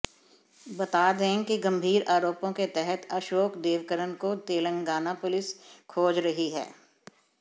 बता दें कि गंभीर आरोपों के तहत अशोक देवकरण को तेलंगाना पुलिस खोज रही है